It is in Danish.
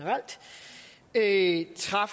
ekstra